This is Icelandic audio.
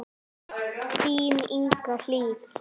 Þín Inga Hlíf.